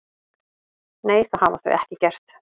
Nei, það hafa þau ekki gert